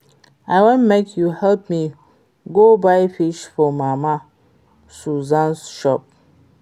I wan make you help me go buy fish for mama Susanna shop